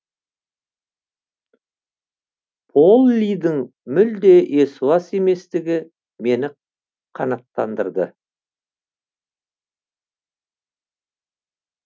поллидің мүлде есуас еместігі мені қанаттандырды